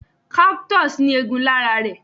Cactus ní egún lára rẹ̀